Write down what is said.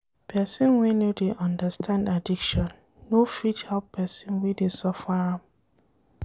Pesin wey no dey understand addiction, no fit help pesin wey dey suffer am.